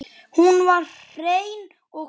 Hún var hrein og bein.